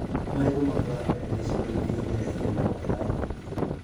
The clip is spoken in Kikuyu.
Marigũ makũraga wega icigo-inĩ irĩa irĩ na mbura nyingĩ